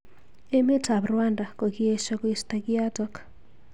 Emet ab Rwanda kokiesho koisto kiotok.